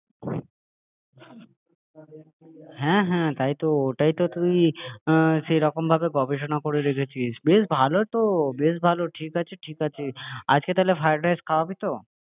যাতে ও তুলে নিতে পারে হ্যাঁ হ্যাঁ তাই তো ওটাই তো তুই সেরকম ভাবে গবেষণা করে রেখেছিস বেশ ভালো তো বেশ ভালো তো ঠিক আছে ঠিক আছে আজকে তাহলে ফ্রাইডরাইস খাওয়াবি তো?